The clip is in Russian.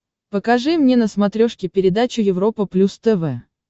покажи мне на смотрешке передачу европа плюс тв